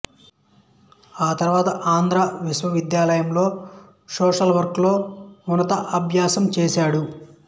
ఆ తరువాత ఆంధ్ర విశ్వవిద్యాలయంలో సోషల్ వర్క్ లో ఉన్నత అభ్యాసం చేశాడు